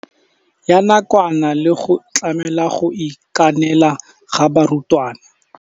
Ya nakwana le go tlamela go itekanela ga barutwana.